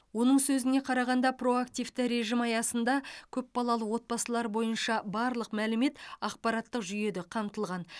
оның сөзіне қарағанда проактивті режим аясында көпбалалы отбасылар бойынша барлық мәлімет ақпараттық жүйеде қамтылған